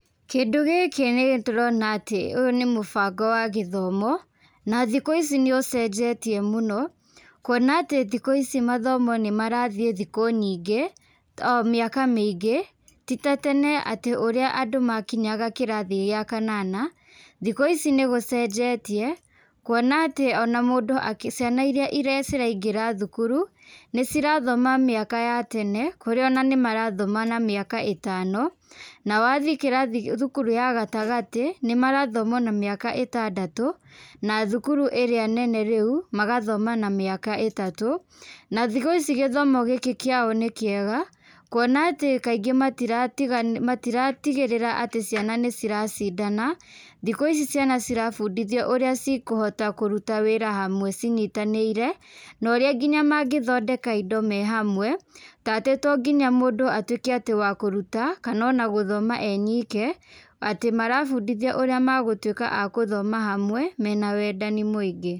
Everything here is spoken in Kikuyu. Kĩndũ gĩkĩ nĩtũrona atĩ ũyũ nĩ mũbango wa gĩthomo, na thikũ ici nĩũcenjetie mũno, kuona atĩ thikũ ici mathomo nĩmarathiĩ thikũ nyingĩ, mĩaka mĩingĩ, ti ta tene atĩ ũrĩa andũ makinyaga kĩrathi gĩa kanana, thikũ ici nĩgũcenjetie, kuona atĩ ona mũndũ akĩ ciana iria ciraingĩra thukuru, nĩcirathoma mĩaka ya tene, kũrĩa ona nĩmarathoma na mĩaka ĩtano, na wathiĩ kĩrathi thukuru ya gatagatĩ, nĩmarathoma ona mĩaka ĩtandatũ, na thukuru ĩrĩa nene rĩũ, magathoma na mĩaka ĩtatũ. Na thikũ ici gĩthomo gĩkĩ kĩao nĩkĩega, kuona atĩ kaingĩ matiratiga matiratigĩrĩra atĩ ciana nĩciracindana, thikũ ici ciana cirabundĩthio ũrĩa cikũhota kũruta wĩra hamwe cinyitanĩire, na ũrĩa nginya mangĩthondeka indo me hamwe, ta atĩ to nginya mũndũ atuĩke atĩ wa kũruta, kana ona gũthoma e nyike, atĩ marabundithio ũrĩa magũtuĩka a gũthoma hamwe, mena wendani mũingĩ.